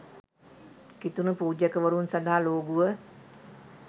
කිතුණු පූජකවරුන් සඳහා ලෝගුව